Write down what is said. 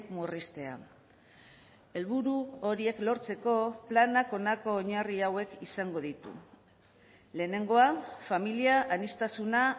murriztea helburu horiek lortzeko planak honako oinarri hauek izango ditu lehenengoa familia aniztasuna